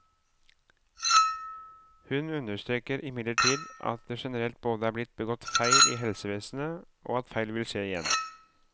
Hun understreker imidlertid at det generelt både er blitt begått feil i helsevesenet, og at feil vil skje igjen.